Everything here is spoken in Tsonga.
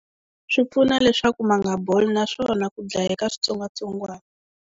Swi pfuna leswaku ma nga boli, naswona ku dlayeka switsongwatsongwana.